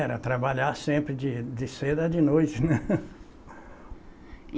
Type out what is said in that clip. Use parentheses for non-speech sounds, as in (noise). Era trabalhar sempre de de cedo a de noite, né. (laughs)